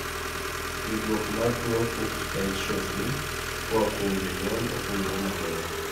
yudruok mar twuo fuchs dystrophy koa kuom jonyuol okeng'ere moriere